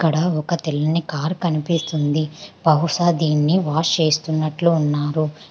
ఇక్కడ ఒక తల్లిని కారు కనిపిస్తుంది బహుశా దీని వాష్ చేస్తున్నట్లు ఉన్నారు.